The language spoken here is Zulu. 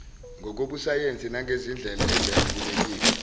ngokobusayensi nangezindlela ezemukelekile